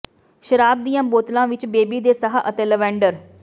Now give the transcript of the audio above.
ਸ਼ਰਾਬ ਦੀਆਂ ਬੋਤਲਾਂ ਵਿੱਚ ਬੇਬੀ ਦੇ ਸਾਹ ਅਤੇ ਲਵੈਂਡਰ